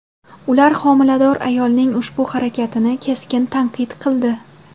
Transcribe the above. Ular homilador ayolning ushbu harakatini keskin tanqid qildi.